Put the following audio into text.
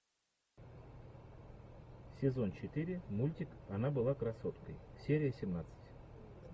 сезон четыре мультик она была красоткой серия семнадцать